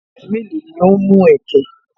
Ènìyàn mélòó ni o ń mú ẹ̀kẹ̀?